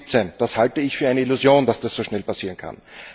2017. Ich halte es für eine Illusion, dass das so schnell passieren kann.